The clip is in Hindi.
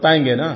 बतायेंगे ना